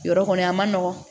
Yɔrɔ kɔni a ma nɔgɔn